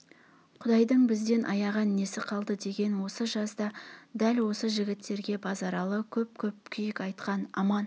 құдайдың бізден аяған несі қалды деген осы жазда дәл осы жігіттерге базаралы көп-көп күйік айтқан аман